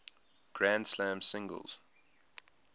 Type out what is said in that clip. grand slam singles